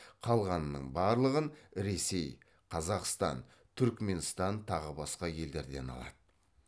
қалғанының барлығын ресей қазақстан түрікменстан тағы басқа елдерден алады